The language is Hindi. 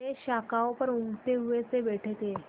वे शाखाओं पर ऊँघते हुए से बैठे थे